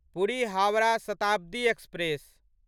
Puri Howrah Shatabdi express